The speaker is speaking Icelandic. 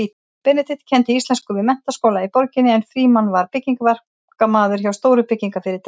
Benedikt kenndi íslensku við menntaskóla í borginni en Frímann var byggingaverkamaður hjá stóru byggingarfyrirtæki.